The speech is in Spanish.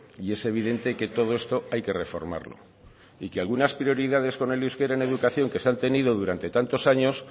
y es evidente que todo esto hay que reformarlo y que algunas prioridades con el euskera en educación que se han tenido durante tantos años